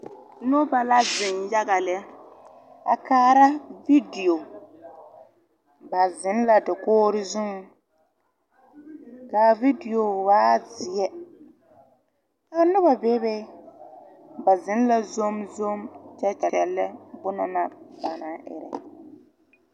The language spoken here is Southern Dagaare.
Noba la zeŋ yaga lɛ. A kaara vidio. Ba zeŋ la dakoore zuŋ. Ka a vidio waa zie. Ka noba bebe. Ba zeŋ la zomzom kyɛ kyɛle lɛ bona naŋ ba naŋ ire